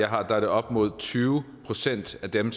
har er det op mod tyve procent af dem